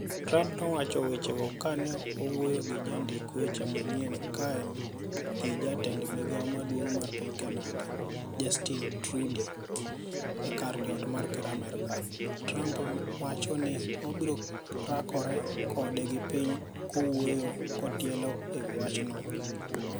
Trump nowacho weche go ka ne owuoyo gi jondik weche manyien kaen gi jatend migao maduong' mar piny Canada, Justin Trudeau e kar jot mar ker mar Amerka. Trump wacho ni obiro rakore kode gi piny kowuoyo kotielo ewi wachno.